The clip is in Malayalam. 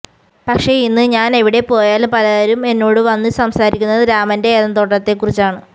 പക്ഷെ ഇന്ന് ഞാന് എവിടെപ്പോയാലും പലരും എന്നോട് വന്നു സംസാരിക്കുന്നത് രാമന്റെ ഏദന് തോട്ടത്തെക്കുറിച്ചാണ്